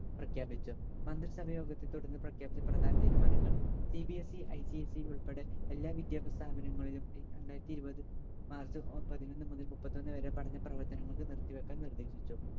പ്രഖ്യാപിച്ചു. മന്ത്രി സഭയോഗത്തെ തുടർന്ന് പ്രഖ്യാപിച്ച പ്രധാന തീരുമാനങ്ങൾ CBSEICSE ഉൾപ്പടെ എല്ലാ വിദ്യാഭ്യാസ സ്ഥാപനങ്ങളിലും രണ്ടായിരത്തി ഇരുപത് മാർച്ച് പതിനൊന്ന് മുതൽ മുപ്പത്തൊന്ന് വരെ പഠന പ്രവർത്തനങ്ങൾക്ക് നിർത്തിവെക്കാൻ നിർദ്ദേശിച്ചു.